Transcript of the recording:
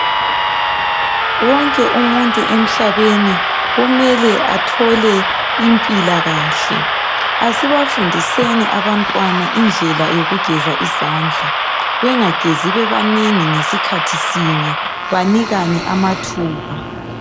Wonke umuntu emhlabeni kumele athole impilakahle, asibafundiseni abantwana indlela yokugeza izandla bengagezi bebanengi ngesikhathi sinye banikane amathuba.